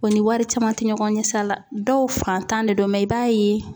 O ni wari caman te ɲɔgɔn ye sira la dɔw faantan de don i b'a ye